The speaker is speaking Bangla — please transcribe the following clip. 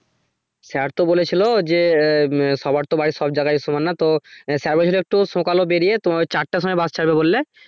sir তো বলেছিলো যে আহ সবার তো বাড়ি সব জায়গায় সমান না তো আহ sir বলছিলো একটু সকালে বেড়িয়ে তোমার ওই চারটার সময় bus ছাড়বে বললে